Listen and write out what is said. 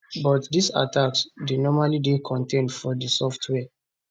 but dis attacks dey normally dey contained to di software